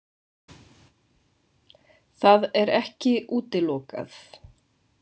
Það er ekki útilokað.